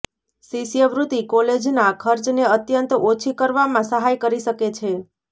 શિષ્યવૃત્તિ કોલેજના ખર્ચને અત્યંત ઓછી કરવામાં સહાય કરી શકે છે